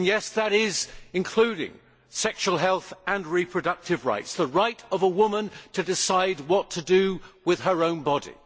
Those include sexual health and reproductive rights, the right of a woman to decide what to do with her own body.